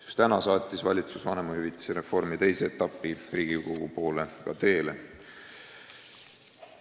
Just täna saatis valitsus vanemahüvitise reformi teise etapi ka Riigikogu poole teele.